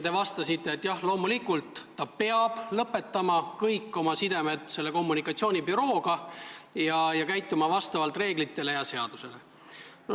Teie vastasite, et jah, loomulikult peab ta lõpetama kõik oma sidemed selle kommunikatsioonibürooga ning käituma vastavalt reeglitele ja seadusele.